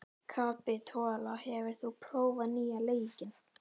Kapitola, hefur þú prófað nýja leikinn?